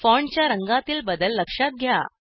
फॉन्टच्या रंगातील बदल लक्षात घ्या